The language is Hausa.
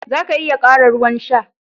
Za ka iya ƙara ruwan sha.